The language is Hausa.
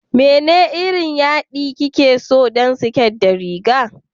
Wane irin yaɗi kike so don siket da riga?